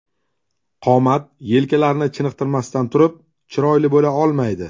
Qomat yelkalarni chiniqtirmasdan turib chiroyli bo‘la olmaydi.